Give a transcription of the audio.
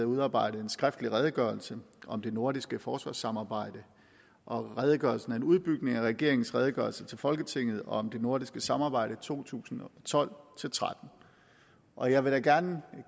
udarbejdet en skriftlig redegørelse om det nordiske forsvarssamarbejde og redegørelsen er en udbygning af regeringens redegørelse til folketinget om det nordiske samarbejde i to tusind og tolv til tretten og jeg vil gerne